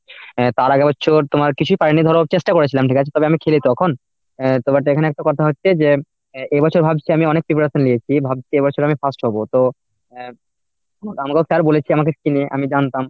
অ্যাঁ তার আগের বছর তোমার কিছুই পায়নি ধরো চেষ্টা করেছিলাম ঠিক আছে তবে আমি খেলি তখন। অ্যাঁ তারপর এখানে একটা কথা হচ্ছে যে এ বছর ভাবছি আমি অনেক team এ খেলে এসেছি ভাবছি এ বছর আমি first হব। তো আহ আমাকেও sir বলেছে আমাদের team এ আমি জানতাম।